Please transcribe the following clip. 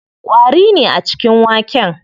Ƙwari ne a cikin waken.